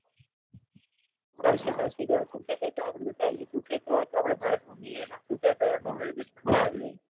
ચાલશે ચાલશે દોડશે ક્યાં ગયા હતા આપણે તું કહેતો હોય તો ભારત ભમીએ આપણે તું કહેતો હોય તો આપણે વિદેશ પણ ફરી આવીએ.